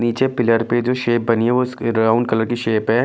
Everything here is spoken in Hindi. नीचे पिलर पे जो शेप बनी है वो ब्राउन कलर की शेप है ।